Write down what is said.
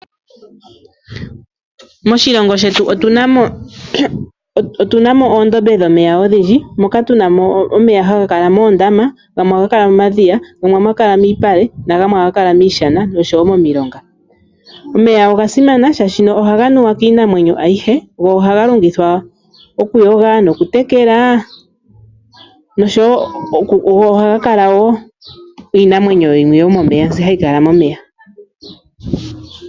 Moshilongo shetu otuna mo oondombe dhomeya odhindji, moka tuna mo omeya haga kala moondama, gamwe ohaga kala momadhiya, gamwe ohaga kala miipale, oshowo miishana noshowo momulonga. Omeya oga simana shaashino ohaga nuwa kiinamwenyo ayihe, go ohaga longithwa oku yoga noku tekela noshowo ohaga kala wo iinamwenyo yimwe yomomeya mbi hayi kala momeya.